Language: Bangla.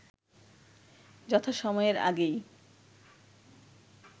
যথাসময়ের আগেই